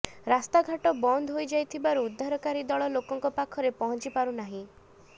ରାସ୍ତାଘାଟ ବନ୍ଦ ହୋଇଯାଇଥିବାରୁ ଉଦ୍ଧାରକାରୀ ଦଳ ଲୋକଙ୍କ ପାଖରେ ପହଞ୍ଚି ପାରୁ ନାହାନ୍ତି